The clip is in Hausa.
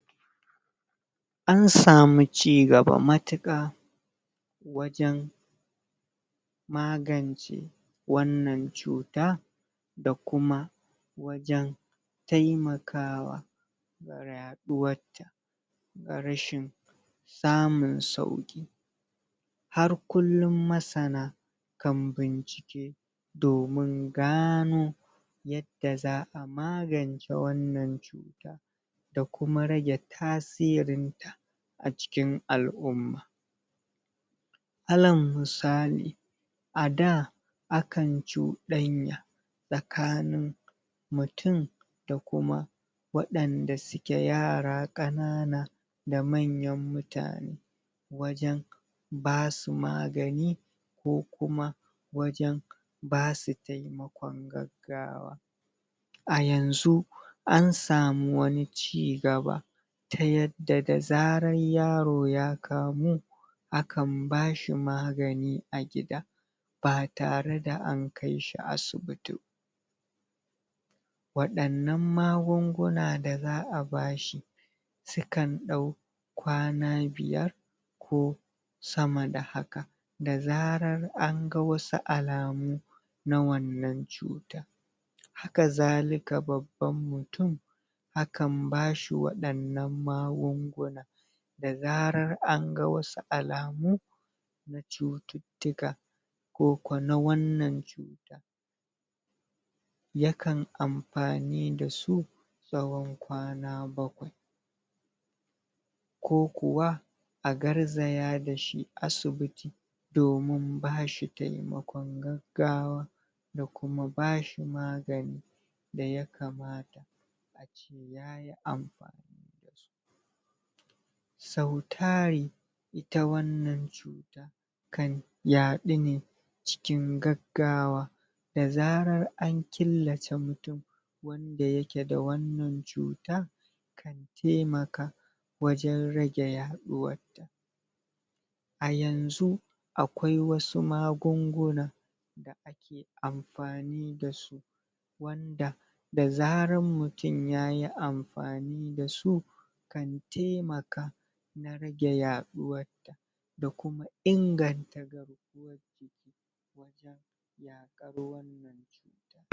An samu cigaba matuƙa Wajen Magance Wannan cuta Da kuma Wajen Taimakawa Ma yaɗuward ta Ta rashin Samun sauki Har kullum masana Kan bincike Domin gano Yadda za'a magance wannan cuta Da kuma rage tasirin ta A cikin al'umma Ala musali A, da Akan cuɗanya Tsakanin Mutum Da kuma Wadanda suke yara kanana Da manyan mutane Wajen Basu magani Ko kuma Wajen Basu taimako gaggawa A yanzu An samu wani cigaba Ta yadda da, zaran yaro ya kawo Akan bashi magani a gida Ba tare da an kaishi asibiti Wadanan magunguna da za'a bashi Sukan ɗau Kwana biyar Ko Sama da haka Da zarar anga wasu alamu Na wannan cuta Haka zaliƙa babban mutum Akan bashi waɗannan magunguna Da zarar anga wasu alamu Na cututtuka Koko na wannan cuta Yakan amfani dasu Tsawon kwana bakwai kokuwa A garzaya dashi asbibiti Domin bashi taimakon gaggawa Da kuma bashi magani Daya kamata Sau tari Ita wannan Kan yaɗu ne, Cikin gaggawa Da zarar an killace mutum Da yake da wannan cuta Kan taimaka Wajen rage yaɗuwar ta A yanzu Akwai wasu magunguna Da ake amfani dasu Wanda Da zarar mutum yayi amfani dasu! Kan taimaka Na rage yaɗuwad ta Da kuma inganta